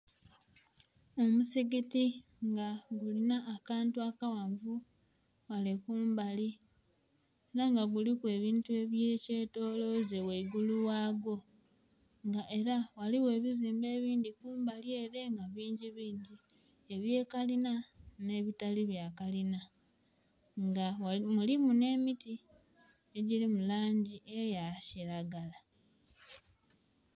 Omusigiti nga gulinha akantu akaghanvu ghale kumbali era nga giliku ebintu ebye kyentoloze ghangulu ghayo nga era ghaligho nhe buzimbe ebindhi kumbali ere nga bingi bingi ebya kalina nhe bitali bya kalina nga mulimu nhe miti edhiri mu langi eya kilagala.